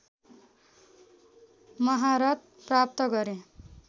महारत प्राप्त गरे